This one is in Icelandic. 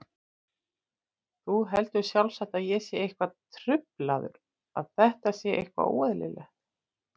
Þú heldur sjálfsagt að ég sé eitthvað truflaður, að þetta sé eitthvað óeðlilegt.